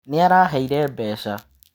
Nĩ araheire mbeca.